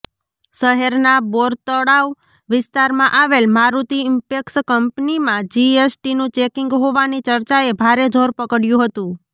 શહેરના બોરતળાવ વિસ્તારમાં આવેલ મારૂતી ઈમ્પેક્સ કંપનીમાં જીએસટીનું ચેકીંગ હોવાની ચર્ચાએ ભારે જોર પકડ્યું હતું